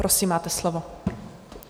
Prosím, máte slovo.